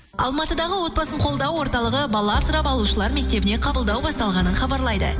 алматыдағы отбасын қолдау орталығы бала асырап алушылар мектебіне қабылдау басталғанын хабарлайды